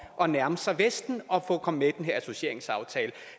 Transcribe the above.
at nærme sig vesten og komme med i den her associeringsaftale